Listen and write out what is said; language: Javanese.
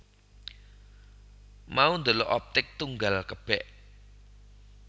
Mau ndelok Optik Tunggal kebek